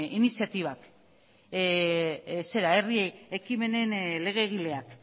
iniziatibak herri ekimenen legegileak